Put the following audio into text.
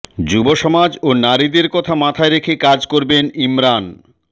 যুবসমাজ ও নারীদের কথা মাথায় রেখে কাজ করবেন ইমরান